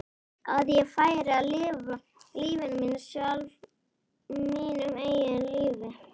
Að ég færi að lifa lífinu sjálf, mínu eigin lífi?